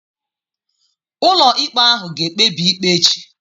Ụlọikpe ahụ ga-ekpebi ikpe echi.